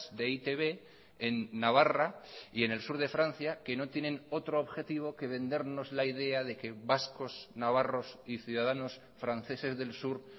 de e i te be en navarra y en el sur de francia que no tienen otro objetivo que vendernos la idea de que vascos navarros y ciudadanos franceses del sur